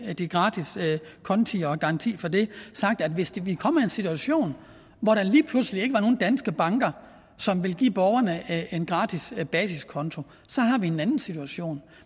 de gratis konti og garantier for dem sagt at hvis vi kommer i en situation hvor der lige pludselig ikke er nogen danske banker som vil give borgerne en gratis basis konto så har vi en anden situation